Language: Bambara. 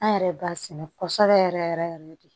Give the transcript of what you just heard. An yɛrɛ b'a sɛnɛ kɔsɔbɛ yɛrɛ yɛrɛ yɛrɛ de